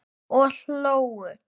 Og hlógu.